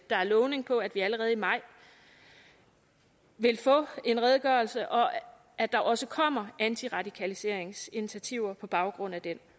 der er lovning på at vi allerede i maj vil få en redegørelse og at der også kommer antiradikaliseringsinitiativer på baggrund af den